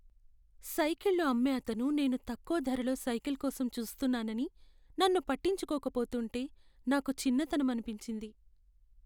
సైకిళ్ళు అమ్మే అతను నేను తక్కువ ధరలో సైకిల్ కోసం చూస్తున్నానని నన్ను పట్టించుకోక పోతుంటే నాకు చిన్నతనమనిపించింది.